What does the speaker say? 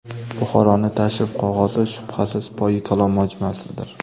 Buxoroning tashrif qog‘ozi, shubhasiz, Poyi Kalon majmuasidir.